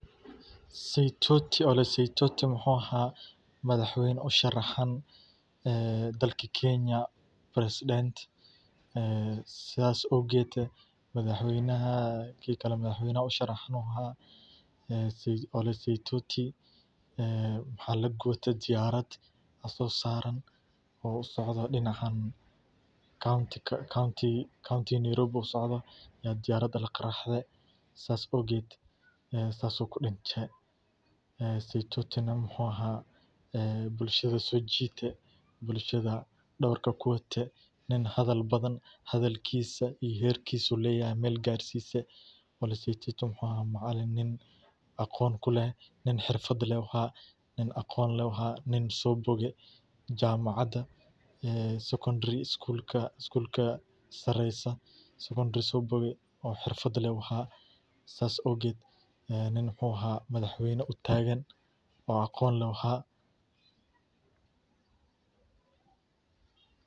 Magacyada Maasai waa qayb muhiim ah oo ka mid ah dhaqanka iyo hidaha dadka Maasai-da, kuwaas oo ku nool guud ahaan bariga Afrika, gaar ahaan Kenya iyo Tanzania. Magacyadani waxay leeyihiin macne qoto dheer oo la xiriira astaamaha dabiiciga ah, dhacdooyinka taariikhiga ah, iyo xaaladaha nolosha ee qofka ama qoyska uu ku dhashay. Waxaa jira magacyo gaar ah oo loo bixiyo wiilasha iyo gabdhaha, kuwaas oo inta badan lagu xusho iyadoo la eegayo duruufaha waqtiga dhalashada, sida xilligii roobka, xoolaha la dhaqo, ama dhacdooyin kale oo muhiim ah.